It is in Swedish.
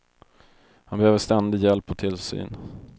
Han behöver ständig hjälp och tillsyn.